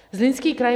Zlínský kraj.